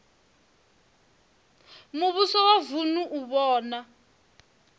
muvhuso wa vunu u vhona